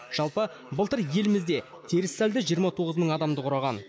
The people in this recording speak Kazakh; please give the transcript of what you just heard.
жалпы былтыр елімізде теріс сальды жиырма тоғыз мың адамды құраған